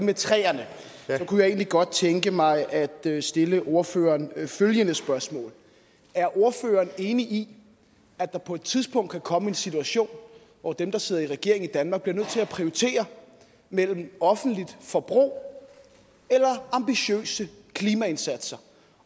med træerne kunne jeg egentlig godt tænke mig at stille ordføreren følgende spørgsmål er ordføreren enig i at der på et tidspunkt kan komme en situation hvor dem der sidder i regering i danmark bliver nødt til at prioritere mellem offentligt forbrug eller ambitiøse klimaindsatser